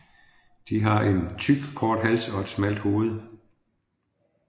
De har en tyk kort hals og et smalt hoved